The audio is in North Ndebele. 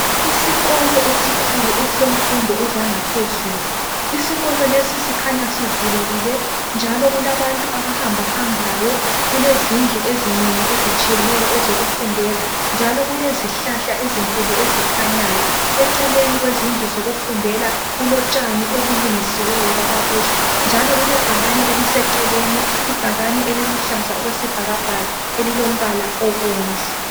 Isikolo esikhulu esemfundo ezangaphezulu . Isikolo lesi sikhanya kuvulekile, njalo kulabantu abahamba hambayo. Kulezindlu ezinengi ezitshiyeneyo ezokufundela njalo kulezihlahla ezinkulu ezikhanyayo. Eceleni kwezindlu zokufundela kulotshani obulungisiweyo kwabakuhle njalo kule bhakani eliseceleni. Ibhakani eliluhlaza okwesibhakabhaka elombala obomvu.